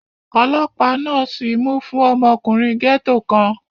Ọlọ́pàá náà sìí mú fún ọmọkùnrin gẹ́ẹ́tò kan